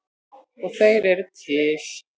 Og þeir eru til.